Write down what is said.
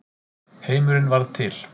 Heimurinn varð til.